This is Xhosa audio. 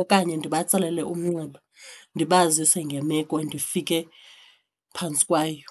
okanye ndibatsalele umnxeba ndibazise ngemeko ndifike phantsi kwayo.